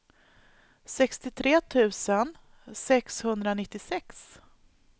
sextiotre tusen sexhundranittiosex